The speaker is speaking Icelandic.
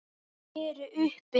Þau eru uppi.